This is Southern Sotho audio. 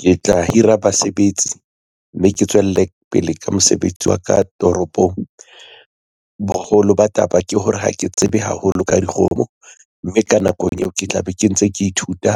Ke tla hira basebetsi, mme ke tswele pele ka mosebetsi wa ka toropong. Boholo ba taba ke hore ha ke tsebe haholo ka dikgomo, mme ka nakong eo ke tla be ke ntse ke ithuta